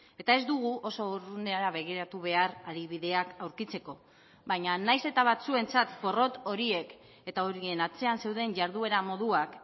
eta ez dugu oso urrunera begiratu behar adibideak aurkitzeko baina nahiz eta batzuentzat porrot horiek eta horien atzean zeuden jarduera moduak